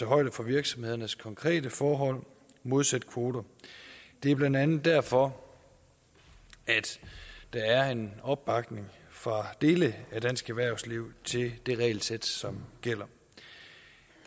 højde for virksomhedernes konkrete forhold modsat kvoter det er blandt andet derfor at der er en opbakning fra dele af dansk erhvervsliv til det regelsæt som gælder